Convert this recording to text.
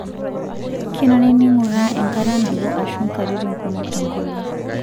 Kenare ninguraa enkata nabo aashu katitin kumok tenkolong'.